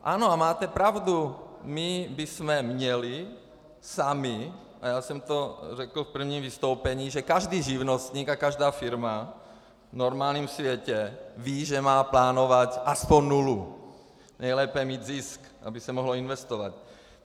Ano, a máte pravdu, my bychom měli sami, a já jsem to řekl v prvním vystoupení, že každý živnostník a každá firma v normálním světě ví, že má plánovat aspoň nulu, nejlépe mít zisk, aby se mohlo investovat.